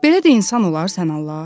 Belə də insan olar sən Allah?